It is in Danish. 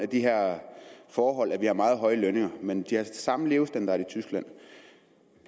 de her forhold at vi har meget høje lønninger men de har samme levestandard i tyskland